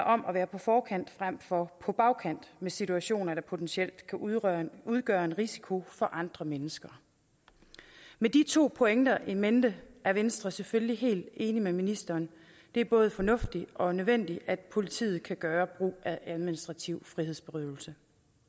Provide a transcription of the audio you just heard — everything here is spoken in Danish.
om at være på forkant frem for på bagkant med situationer der potentielt kan udgøre en udgøre en risiko for andre mennesker med de to pointer in mente er venstre selvfølgelig helt enige med ministeren det er både fornuftigt og nødvendigt at politiet kan gøre brug af administrativ frihedsberøvelse